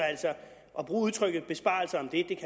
at bruge udtrykket besparelser om det